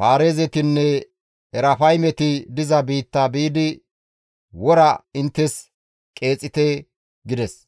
Paarizetinne Erafaymeti diza biitta biidi wora inttes qeexite» gides.